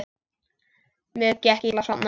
Mér gekk illa að sofna.